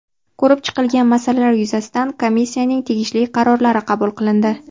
Ko‘rib chiqilgan masalalar yuzasidan Komissiyaning tegishli qarorlari qabul qilindi.